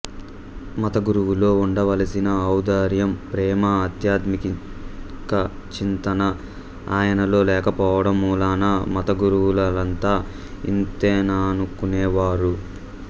మతగురువులో ఉండవలసిన ఔదార్యం ప్రేమ ఆధ్యాత్మికచింతన ఆయనలో లేకపోవడం మూలాన మతగురువులంతా ఇంతేననుకునేవాడు